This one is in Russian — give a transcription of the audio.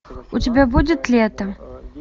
у тебя будет лето